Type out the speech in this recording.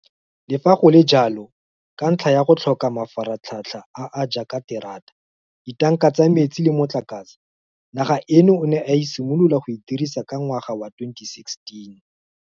Le fa go le jalo, ka ntlha ya go tlhoka mafaratlhatlha a a jaaka terata, ditanka tsa metsi le motlakase, naga eno o ne a simolola go e dirisa ka ngwaga wa 2016.